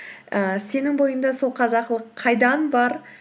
ііі сенің бойыңда сол қазақылық қайдан бар